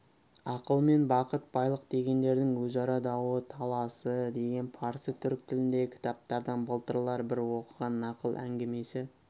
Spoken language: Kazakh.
ақыл мен бақыт байлық дегендердің өзара дауы таласы деген парсы түрік тіліндегі кітаптардан былтырлар бір оқыған нақыл әңгімесі